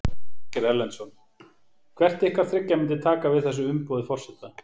Ásgeir Erlendsson: Hvert ykkar þriggja myndi taka við þessu umboði forseta?